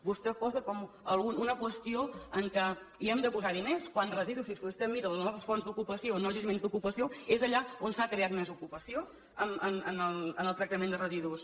vostè ho posa una qüestió en què hem de posar diners quan a residus si vostè mira les noves fonts d’ocupació nous jaciments d’ocupació és allà on s’ha creat més ocupació en el tractament de residus